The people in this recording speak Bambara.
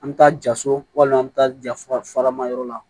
An bɛ taa jaso walima an bɛ taa jafa faramayɔrɔ la